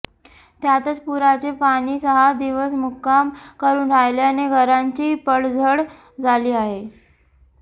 त्यातच पुराचे पाणी सहा दिवस मुक्काम करून राहिल्याने घरांची पडझड झाली आहे